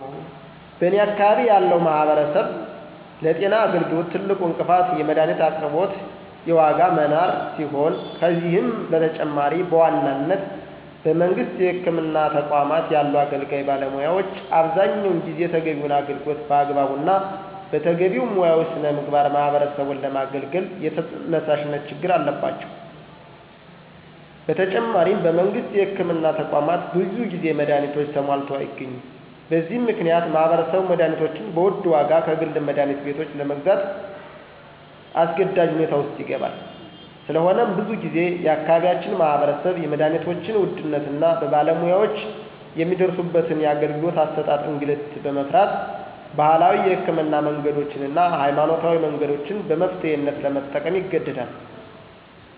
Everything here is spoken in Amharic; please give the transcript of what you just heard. በኔ አካባቢ ያለው ማህበረሰብ ለጤና አገልግሎት ትልቁ እንቅፋት የመድሀኒት አቅርቦት የዋጋ መናር ሲሆን ከዚህም በተጨማሪ በዋናነት በመንግስት የህክምና ተቋማት ያሉ አገልጋይ ባለሙያዎች አብዛኛውን ጊዜ ተገቢውን አገልግሎት በአግባቡ እና በተገቢው ሙያዊ ሥነ ምግባር ማህበረሰቡን ለማገልገል የተነሳሽነት ችግር አለባቸው። በተጨማሪም በመንግስት የህክምና ተቋማት ብዙ ጊዜ መድሀኒቶች ተሟልተው አይገኙም። በዚህ ምክንያት ማህበረሰቡ መድሀኒቶችን በውድ ዋጋ ከግል መድሀኒት ቤቶች ለግዛት አስገዳጅ ሁኔታ ውስጥ ይገባል። ስለሆነም ብዙ ጊዜ የአካባቢያችን ማህበረሰብ የመድሀኒቶችን ውድነት እና በባለሙያወችን የሚደርስበትን የአገልግሎት አሠጣጥ እንግልት በመፍራት ባህላዊ የህክምና መንገዶችን እና ሀይማኖታዊ መንገዶችን በመፍትሔነት ለመጠቀም ይገደዳል።